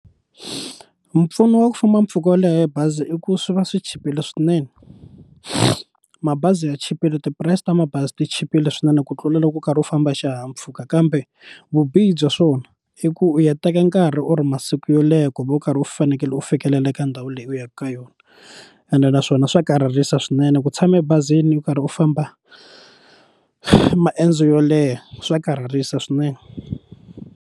Mpfuno wa ku famba mpfhuka wo leha hi bazi i ku swi va swi chipile swinene mabazi ya chipile tipurayisi ta mabazi ti chipile swinene ku tlula loko u karhi u famba hi xihahampfhuka kambe vubihi bya swona i ku u ya teka nkarhi or masiku yo leha ku va u karhi u fanekele u fikelela ka ndhawu leyi u yaka ka yona ene naswona swa karhalisa swinene ku tshama ebazini u karhi u famba maendzo yoleha swa karhalisa swinene.